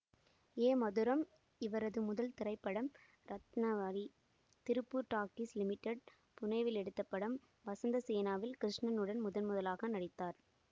ஏ மதுரம் இவரது முதல் திரைப்படம் ரத்னாவளி திருப்பூர் டாக்கீஸ் லிமிடெட் புனேவில் எடுத்த படம் வசந்தசேனாவில் கிருஷ்ணனுடன் முதன்முதலாக நடித்தார்